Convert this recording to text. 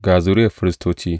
Ga zuriyar Firistoci.